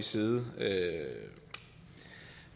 side